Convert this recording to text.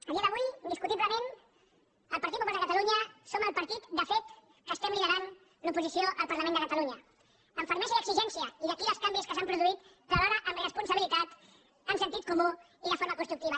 a dia d’avui indiscutiblement el partit popular de catalunya som el partit de fet que estem liderant l’oposició al parlament de catalunya amb fermesa i exigència i d’aquí els canvis que s’han produït però alhora amb responsabilitat amb sentit comú i de forma constructiva